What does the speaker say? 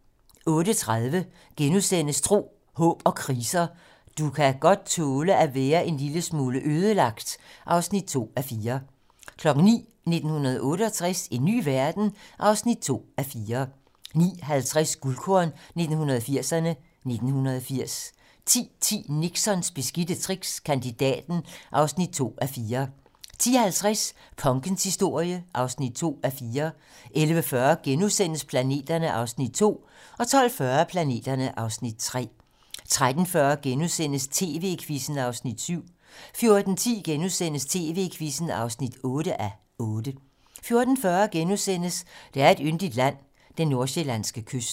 08:30: Tro, håb & kriser: Du kan godt tåle at være en lille smule ødelagt (2:4)* 09:00: 1968 - en ny verden? (2:4) 09:50: Guldkorn 1980'erne: 1980 10:10: Nixons beskidte tricks - Kandidaten (2:4) 10:50: Punkens historie (2:4) 11:40: Planeterne (Afs. 2)* 12:40: Planeterne (Afs. 3) 13:40: TV-Quizzen (7:8)* 14:10: TV-Quizzen (8:8)* 14:40: Der er et yndigt land - den nordsjællandske kyst *